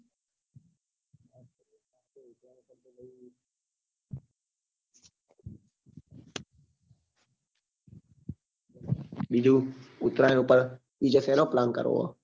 બીજું ઉતરાયણ પર બીજા શેનો plan કરવો છે